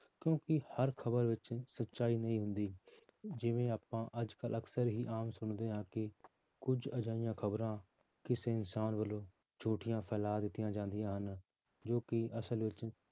ਕਿਉਂਕਿ ਹਰ ਖ਼ਬਰ ਵਿੱਚ ਸਚਾਈ ਨਹੀਂ ਹੁੰਦੀ ਜਿਵੇਂ ਆਪਾਂ ਅੱਜ ਕੱਲ੍ਹ ਅਕਸਰ ਹੀ ਆਮ ਸੁਣਦੇ ਹਾਂ ਕਿ ਕੁੱਝ ਅਜਿਹੀਆਂ ਖ਼ਬਰਾਂ ਕਿਸੇ ਇਨਸਾਨ ਵੱਲੋਂ ਝੂਠੀਆਂ ਫੈਲਾ ਦਿੱਤੀਆਂ ਜਾਂਦੀਆਂ ਹਨ ਜੋ ਕਿ ਅਸਲ ਵਿੱਚ